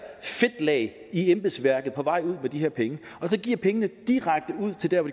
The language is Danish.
fedtlag i embedsværket på vejen ud med de her penge og at give pengene direkte ud til dér hvor